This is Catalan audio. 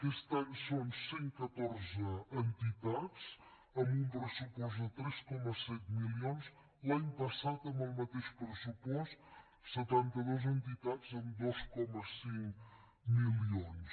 aquest any són cent catorze entitats amb un pressupost de tres coma set milions l’any passat amb el mateix pressupost setanta dues entitats amb dos coma cinc milions